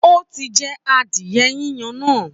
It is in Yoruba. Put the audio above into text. Ó ti jẹ adìye yíyan náà